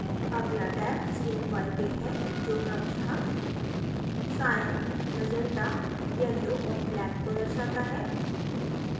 अगला tab cmyk है जो क्रमशः cyan magenta yellow और black को दर्शाता है